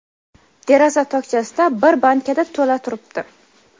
deraza tokchasida bir bankada to‘la turibdi.